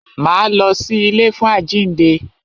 Máa lọ sí ilé fún àjínde.